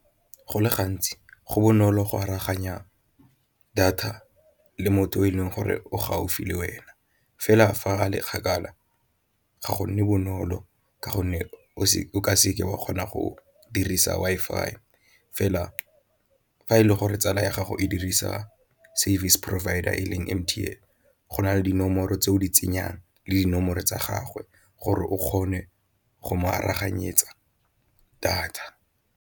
Go le gantsi go bonolo go aroganya data le motho o e leng gore o gaufi le wena fela fa a le kgakala ga gonne bonolo ka gonne o ka seke wa kgona go dirisa Wi-Fi, fela fa e le gore tsala ya gago e dirisa service provider e leng M_T_N go na le dinomoro tse o di tsenyang le dinomoro tsa gagwe gore o kgone go mo aroganyetsa data.